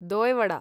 दोय् vada